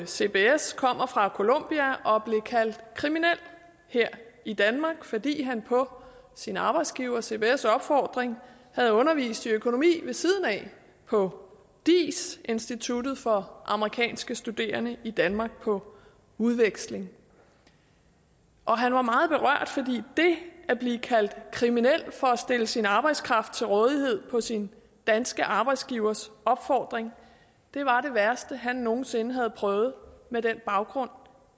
cbs kommer fra colombia og blev kaldt kriminel her i danmark fordi han på sin arbejdsgiver cbs opfordring havde undervist i økonomi ved siden af på diis instituttet for amerikanske studerende i danmark på udveksling og han var meget berørt fordi det at blive kaldt kriminelt for at stille sin arbejdskraft til rådighed på sin danske arbejdsgivers opfordring var det værste han nogen sinde havde prøvet med den baggrund